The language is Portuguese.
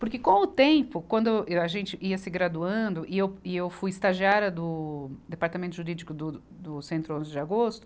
Porque com o tempo, quando eu, a gente ia se graduando, e eu, e eu fui estagiária do Departamento Jurídico do, do Centro onze de Agosto,